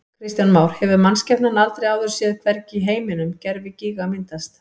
Kristján Már: Hefur mannskepnan aldrei áður séð, hvergi í heiminum, gervigíga myndast?